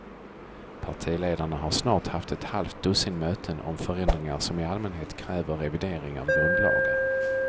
Partiledarna har snart haft ett halvt dussin möten om förändringar som i allmänhet kräver revidering av grundlagar.